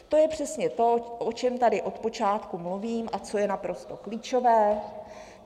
To je přesně to, o čem tady od počátku mluvím a co je naprosto klíčové.